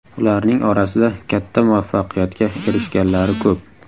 Ularning orasida katta muvaffaqiyatga erishganlari ko‘p.